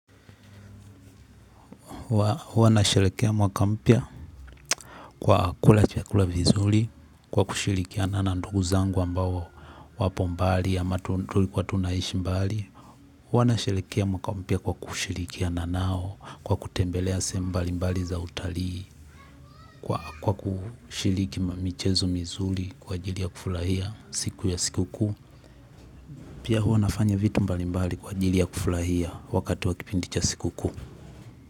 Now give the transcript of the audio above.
Huwa nasherekea mwaka mpya kwa kula chakula vizuri kwa kushirikiana na ndugu zangu ambao wapo mbali ama tulikuwa tunaishi mbali. Huwa nasherekea mwaka mpya kwa kushirikiana nao kwa kutembelea sehemu mbali mbali za utalii kwa kushiriki michezo mizuri kwa ajili ya kufurahia siku ya sikukuu. Pia huwa nafanya vitu mbali mbali kwa ajili ya kufurahia wakati wa kipindi cha sikukuu.